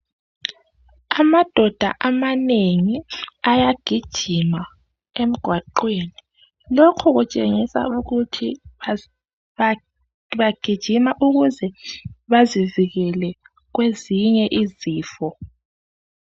Amadodo amanengi ayagijima emgwaqeni lokhu kutshengisa ukuthi bagijima ukuze bazivikele kwezinye izifo